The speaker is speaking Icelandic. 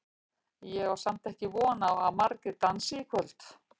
Ég á samt ekki von á að margir dansi í kvöld.